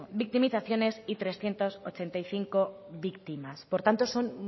victimizaciones y trescientos ochenta y cinco víctimas por tanto son